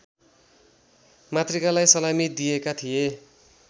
मातृकालाई सलामी दिएका थिए